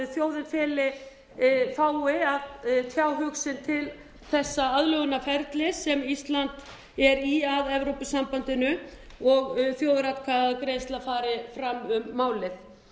þjóðin fái að tjá hug sinn til þessa aðlögunarferlis sem ísland er í að evrópusambandinu og á þjóðaratkvæðagreiðsla fari fram um